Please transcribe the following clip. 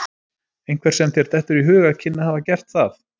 Einhver sem þér dettur í hug að kynni að hafa gert það?